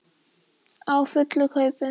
Á fullu kaupi.